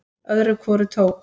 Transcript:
Öðru hvoru tók